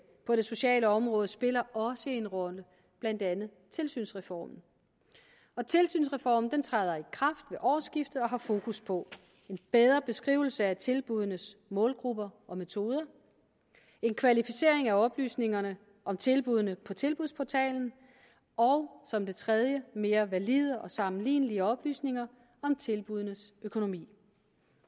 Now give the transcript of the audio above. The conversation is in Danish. på det sociale område spiller også en rolle blandt andet tilsynsreformen og tilsynsreformen træder i kraft ved årsskiftet og har fokus på en bedre beskrivelse af tilbuddenes målgrupper og metoder en kvalificering af oplysningerne om tilbuddene på tilbudsportalen og som det tredje mere valide og sammenlignelige oplysninger om tilbuddenes økonomi